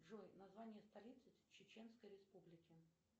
джой название столицы чеченской республики